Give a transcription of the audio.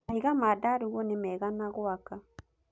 Mahiga ma ndarugu ni mega na gwaka.